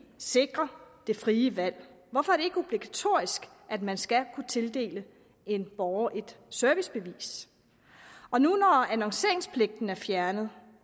sikre det frie valg hvorfor er det ikke obligatorisk at man skal kunne tildele en borger et servicebevis når nu annonceringspligten er fjernet